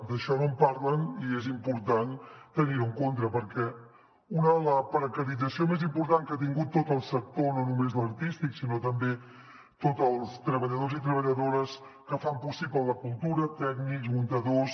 d’això no en parlen i és important tenir ho en compte perquè la precarització més important que ha tingut tot el sector no només l’artístic sinó també tots els treballadors i treballadores que fan possible la cultura tècnics muntadors